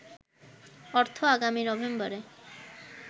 অর্থ আগামী নভেম্বরে